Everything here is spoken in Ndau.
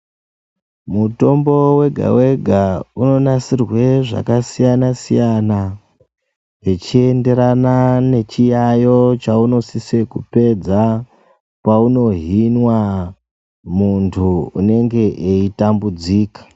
Mutombo wega wega unonasirwe zvakasiyana siyana, zvichienderana nechiyayo chaunosise kupedza paunohinwa muntu unenge eitambudzika.